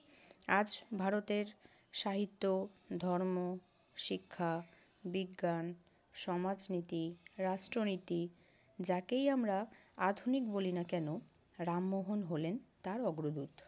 আজ ভারতের সাহিত্য, ধর্ম, শিক্ষা, বিজ্ঞান, সমাজনীতি, রাষ্ট্রনীতি যাকেই আমরা আধুনিক বলি না কেন রামমোহন হলেন তার অগ্রদূত।